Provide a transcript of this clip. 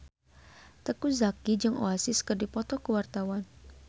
Teuku Zacky jeung Oasis keur dipoto ku wartawan